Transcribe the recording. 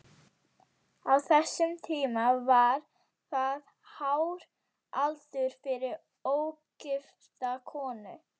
Á þessum tíma var það hár aldur fyrir ógifta konu.